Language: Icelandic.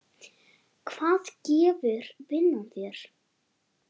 Hvað gefur vinnan þér?